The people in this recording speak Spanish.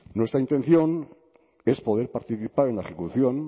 nuestra intención es poder participar en la ejecución